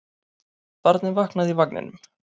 Barnið vaknaði í vagninum.